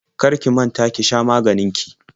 Kar ki manta ki sha maganin ki.